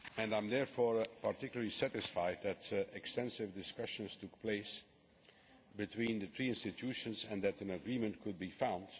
I am therefore particularly satisfied that extensive discussions took place between the three institutions and that an agreement could be found.